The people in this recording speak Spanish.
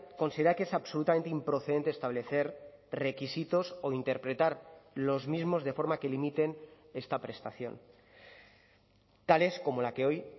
considera que es absolutamente improcedente establecer requisitos o interpretar los mismos de forma que limiten esta prestación tales como la que hoy